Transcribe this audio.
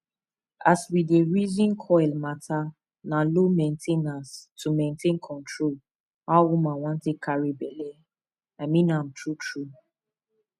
as we dey reason coil matter na low main ten ance to maintain control how woman wan take carry belle i mean am true true